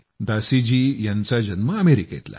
दासी जी यांचा जन्म अमेरिकेतला